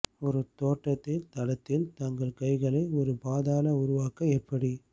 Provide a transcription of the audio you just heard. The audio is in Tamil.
ஒரு தோட்டத்தில் தளத்தில் தங்கள் கைகளை ஒரு பாதாள உருவாக்க எப்படி